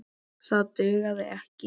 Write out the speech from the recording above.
Það dugði ekki.